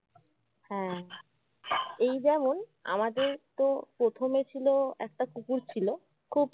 হ্যাঁ এই যেমন আমাদের তো প্রথমে ছিলো একটা কুকুর ছিল খুব